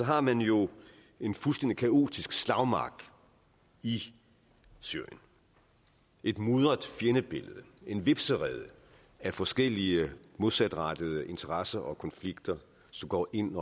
har man jo en fuldstændig kaotisk slagmark i syrien et mudret fjendebillede en hvepserede af forskellige modsatrettede interesser og konflikter som går ind